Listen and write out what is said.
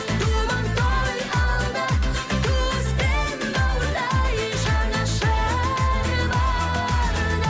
думан той алда туыс пен бауырдай жанашыр барда